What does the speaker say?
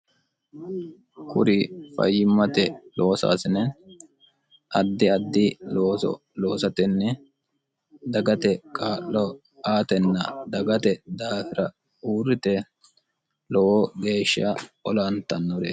kuri fayyimmate loosaasine addi addi looso loosatenni dagate kaa'lo aatenna dagate daafira uurrite lowo geeshsha olantannoreeti